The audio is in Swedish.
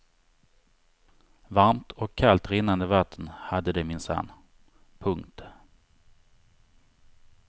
Varmt och kallt rinnande vatten hade de minsann. punkt